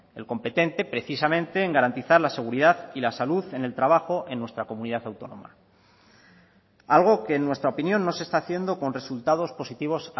el competente precisamente en garantizar la seguridad y la salud en el trabajo en nuestra comunidad autónoma algo que en nuestra opinión no se está haciendo con resultados positivos